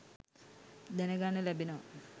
දැනගන්න ලැබෙනවා.